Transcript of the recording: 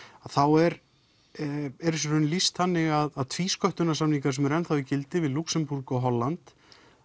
þá er er þessu í raun lýst þannig að tvísköttunarsamningar sem eru enn í gildi við Lúxembúrg og Holland